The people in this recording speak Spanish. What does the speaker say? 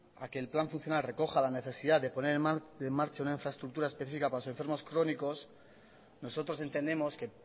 a que el plan funcional recoja la necesidad de poner en marcha una infraestructura específica para los enfermos crónicos nosotros entendemos que